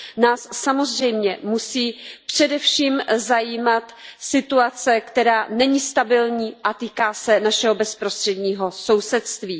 Nás samozřejmě musí především zajímat situace, která není stabilní a týká se našeho bezprostředního sousedství.